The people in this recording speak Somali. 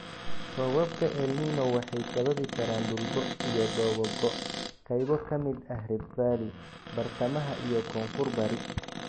Roobabka El Niño waxay sababi karaan dhul go' iyo dhoobo go'ay qaybo ka mid ah Rift Valley, Bartamaha iyo Koonfur-bari.